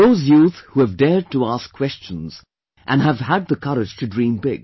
Those youth who have dared to ask questions and have had the courage to dream big